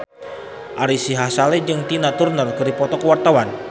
Ari Sihasale jeung Tina Turner keur dipoto ku wartawan